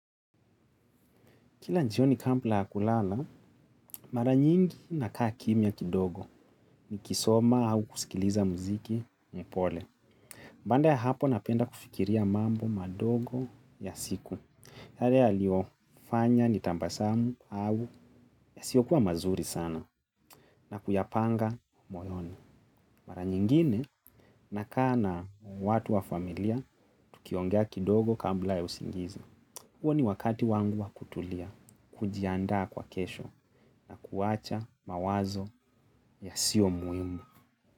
Kila njioni kambla kulala, mara nyingi nakaa kimya kidogo nikisoma au kusikiliza mziki ni pole. Mbanda ya hapo napenda kufikiria mambo madogo ya siku. Yale yaliofanya nitambasamu au yasiyokuwa mazuri sana na kuyapanga moyoni. Mara nyingine nakaa na watu wa familia tukiongea kidogo kambla ya usingizi. Huo ni wakati wangu wa kutulia, kujiandaa kwa kesho, kuwacha mawazo yasio muimu.